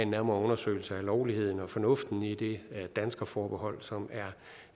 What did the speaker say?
nærmere undersøgelse af lovligheden og fornuften i det danskerforbehold som